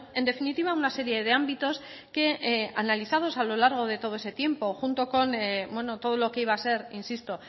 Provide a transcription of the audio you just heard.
en definitiva una serie de ámbitos que analizados a lo largo de todo ese tiempo junto con todo lo que iba a ser insisto